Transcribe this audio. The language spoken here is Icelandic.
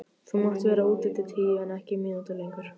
Þú mátt vera úti til tíu en ekki mínútu lengur.